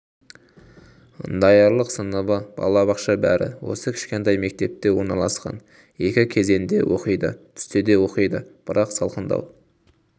даярлық сыныбы балабақша бәрі осы кішкентай мектепте орналасқан екі кезеңде оқиды түсте де оқиды бірақ салқындау